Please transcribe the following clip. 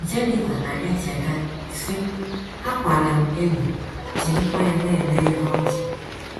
Jenifer na - echeta, sị: “ Ha kwara m emo, jirikwa ya na - eme ihe ọchị. ”